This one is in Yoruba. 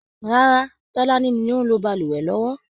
Rárá, Tọláni ni ó ń lo balùwẹ̀ lọ́wọ́